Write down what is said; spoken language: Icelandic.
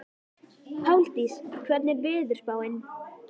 Páldís, hvernig er veðurspáin?